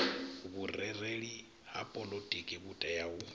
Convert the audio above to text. vhurereli ha poḽotiki vhutea u